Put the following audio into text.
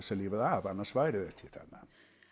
að lifa af annars væri hún ekki þarna